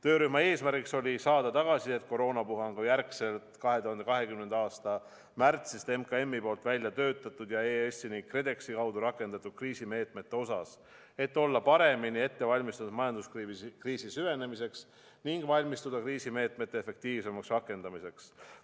Töörühma eesmärk oli saada tagasisidet koroonapuhangu järgselt 2020. aasta märtsis MKM-i poolt välja töötatud ja EAS-i ning KredExi kaudu rakendatud kriisimeetmete kohta, et olla paremini ette valmistatud majanduskriisi süvenemiseks ning valmistuda kriisimeetmete efektiivsemaks rakendamiseks.